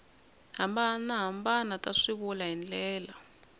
hambanahambana ta swivulwa hi ndlela